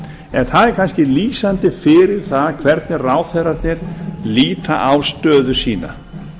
en það er kannski lýsandi fyrir það hvernig ráðherrarnir líta á stöðu sína